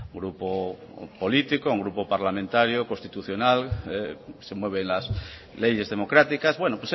grupo político un grupo parlamentario constitucional que se mueve en las leyes democráticas bueno